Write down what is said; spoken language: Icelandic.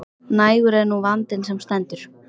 Nægur er nú vandinn sem stendur.